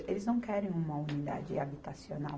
Eles não querem uma unidade habitacional.